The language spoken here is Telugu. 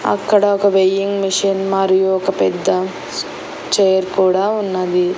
అక్కడ ఒక వెయ్యింగ్ మిషన్ మరియు ఒక పెద్ద చైర్ కూడా ఉన్నది.